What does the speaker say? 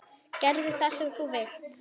Gerðu það sem þú vilt!